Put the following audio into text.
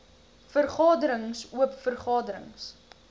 vergaderings oop vergaderings